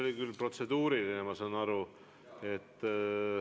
See oli protseduuriline küsimus, ma saan aru.